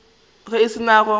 ge e se go no